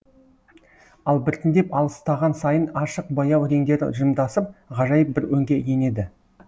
ал біртіндеп алыстаған сайын ашық баяу реңдері жымдасып ғажайып бір өңге енеді